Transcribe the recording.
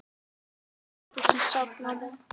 Inni í eldhúsi sat mamma og grét í fanginu á ömmu.